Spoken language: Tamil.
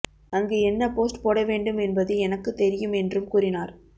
அங்கு என்ன போஸ்ட் போட வேண்டும் என்பது எனக்கு தெரியும் என்றும் கூறினார்